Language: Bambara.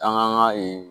An ka ee